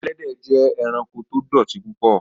Ẹlẹ́dẹ jẹ́ ẹ̀ránkò tó dọ̀tí púpọ̀